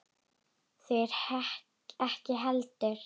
Þeir ekki heldur.